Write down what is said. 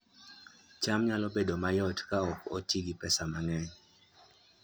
cham nyalo bedo mayot ka ok oti gi pesa mang'eny